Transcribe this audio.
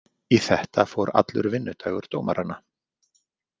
Í þetta fór allur vinnudagur dómaranna.